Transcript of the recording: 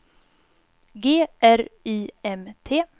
G R Y M T